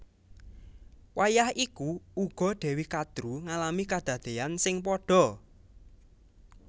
Wayah iku uga Dewi Kadru ngalami kadadéyan sing padha